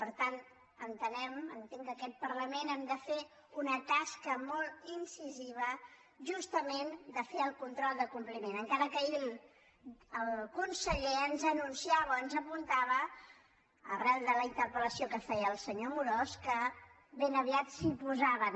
per tant entenem entenc que aquest parlament hem de fer una tasca molt incisiva justament de fer el control de compliment encara que ahir el conseller ens anunciava o ens apuntava arran de la interpelaviat s’hi posaven